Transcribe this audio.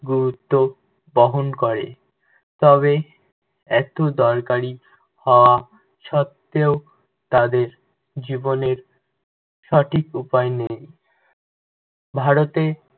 গুরুত্ব বহন করে। তবে এত দরকারী হওয়া সত্ত্বেও, তাদের জীবনের সঠিক উপায় নেই। ভারতে